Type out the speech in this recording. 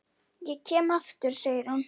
Ég kem aftur, segir hún.